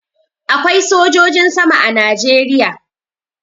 Akwai sojojin sama a Najeriya.